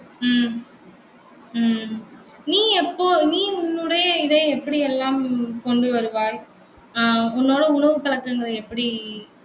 உம் உம் நீ எப்போ? நீ உன்னுடைய இதை எப்படியெல்லாம் கொண்டுவருவாய்? ஆஹ் உன்னோட உணவு பழக்கங்கள் எப்படி